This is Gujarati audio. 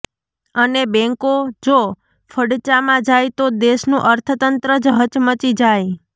અને બેન્કો જો ફડચામાં જાય તો દેશનું અર્થતંત્ર જ હચમચી જાય